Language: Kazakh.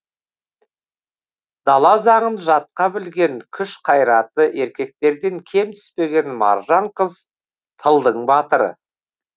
дала заңын жатқа білген күш қайраты еркектерден кем түспеген маржан қыз тылдың батыры